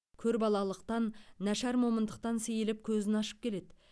көрбалалықтан нашар момындықтан сейіліп көзін ашып келеді